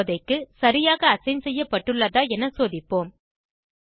இப்போதைக்கு சரியாக அசைன் செய்யப்பட்டுள்ளதா என சோதிப்போம்